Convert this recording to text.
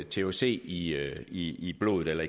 thc i i blodet eller